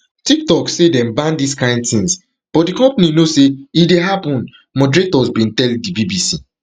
tiktok say dem ban dis kain tins but di company know say e dey happen moderators bin tell di bbc